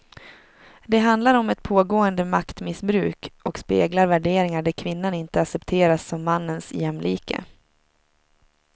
Det handlar om ett pågående maktmissbruk och speglar värderingar där kvinnan inte accepteras som mannens jämlike.